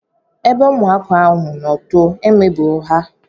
Ebe ụmụaka ahụ no too, e megburu ha